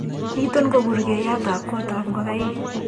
Niton ko burgeiyetab kotab ngokaik.